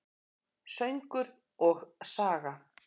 Söngur og saga.